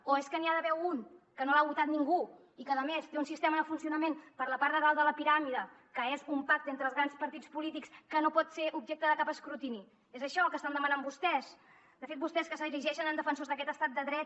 o és que n’hi ha d’ha·ver un que no l’ha votat ningú i que a més té un sistema de funcionament per la part de dalt de la piràmide que és un pacte entre els grans partits polítics que no pot ser objecte de cap escrutini és això el que estan demanant vostès de fet vostès que s’erigeixen en defensors d’aquest estat de dret